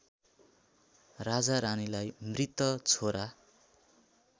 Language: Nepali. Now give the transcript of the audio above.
राजारानीलाई मृत छोरा